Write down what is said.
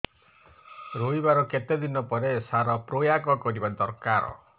ରୋଈବା ର କେତେ ଦିନ ପରେ ସାର ପ୍ରୋୟାଗ କରିବା ଦରକାର